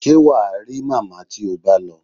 Ṣé wà á rí màmá tí o bá lọ?